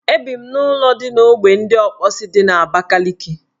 Ebi m n' ụlọala dị n' ogbe ndị Ọkpọsị dị n' Abakaliki